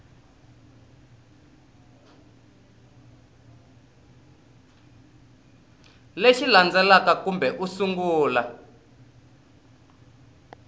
lexi landzelaka kambe u sungula